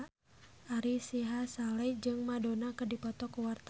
Ari Sihasale jeung Madonna keur dipoto ku wartawan